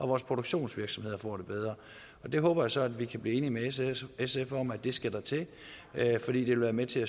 vores produktionsvirksomheder får det bedre jeg håber så at vi kan blive enige med sf om at det skal der til fordi det vil være med til